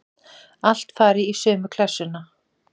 Allt fari í sömu klessuna.